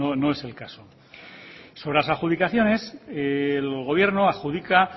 no es el caso sobre las adjudicaciones el gobierno adjudica